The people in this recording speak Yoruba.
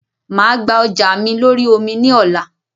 Máa gba ọjà mi lórí omi ni ọ̀la